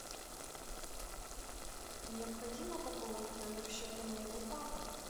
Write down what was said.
необходимо пополнить номер счета моего папы